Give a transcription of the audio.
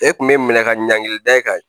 E kun be minɛ ka ɲankili da e kan